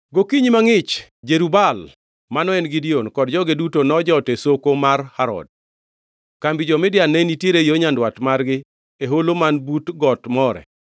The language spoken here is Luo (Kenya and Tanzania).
Gokinyi mangʼich, Jerub-Baal (mano en Gideon) kod joge duto nojot e soko mar Harod. Kambi jo-Midian ne nitiere yo nyandwat margi e holo man but got More.